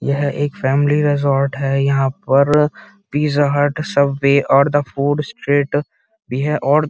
यहाँ एक family resort है यहाँ पर पिज़्ज़ा हट सबवे और द फूड स्ट्रीट ।